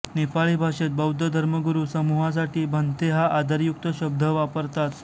नेपाळी भाषेत बौद्ध धर्मगुरू समुहासाठी भंतेहा आदरयुक्त शब्द वापरतात